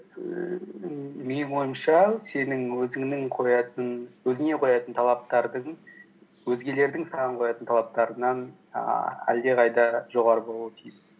ііі менің ойымша сенің өзіңе қоятын талаптардың өзгелердің саған қоятын талаптарынан ііі әлдеқайда жоғары болуы тиіс